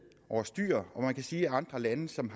over styr og man kan sige at andre lande som